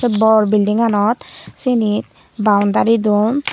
bor building ganot senit boundary don